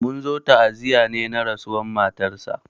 Munzo ta'aziya ne na rasuwan matar sa